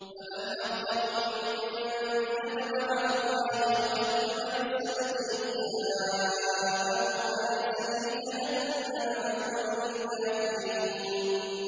۞ فَمَنْ أَظْلَمُ مِمَّن كَذَبَ عَلَى اللَّهِ وَكَذَّبَ بِالصِّدْقِ إِذْ جَاءَهُ ۚ أَلَيْسَ فِي جَهَنَّمَ مَثْوًى لِّلْكَافِرِينَ